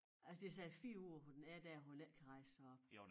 Altså det siger 4 uger hvor den er dér hvor den ikke kan rejse sig op